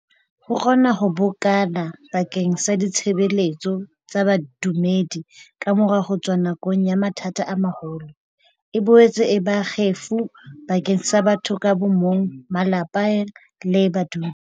Ho kgona ho bokana ba keng sa ditshebeletso tsa bodumedi kamora ho tswa nakong ya mathata a maholo, e boetse e ba kgefu bakeng sa batho ka bo mong, malapa le badudi.